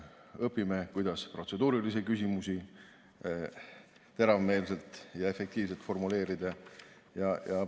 Õpime, kuidas protseduurilisi küsimusi teravmeelselt ja efektiivselt formuleerida.